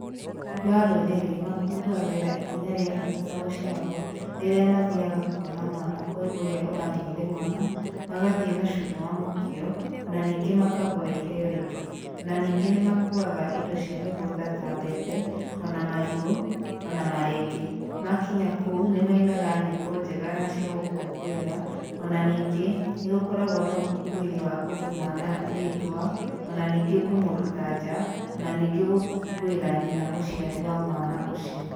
Andũ a rũrĩrĩ makũngũagĩra ikinya rĩa bata ta gũciarwo rĩrĩa mathiaga kũona mwana kwĩ ũrĩa ũragĩire mwana magathĩĩ na cũrũ wa mũkio ona ningĩ makagũra iheo ĩngĩ ona ningĩ nĩmakuaga indo cia mĩgũnda ta mbembe ona marigũ ona marenge. Makinya kuũ nĩmaina nyĩmbo njega na cia gũkũngũĩra ona ningĩ nĩgũkoragwo na ũkũngũĩri wa kũhe mwana rĩtwa ona ningĩ kũmũruta nja ona ningĩ gũkũngũĩra nyina mũciari wa mwana ũcio.